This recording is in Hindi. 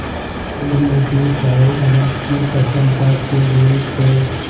क्षीरनिधिशायी अनंत की प्रसन्नता के लिए क्